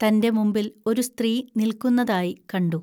തന്റെ മുമ്പിൽ ഒരു സ്ത്രീ നിൽക്കുന്നതായി കണ്ടു